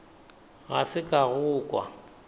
ga se ka go kwa